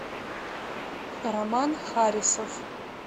роман харисов